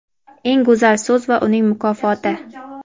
Eng go‘zal so‘z va uning mukofoti!.